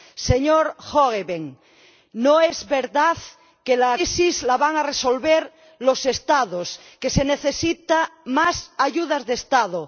Señor Hoogeveen, no es verdad que la crisis la vayan a resolver los Estados, que se necesiten más ayudas de Estado.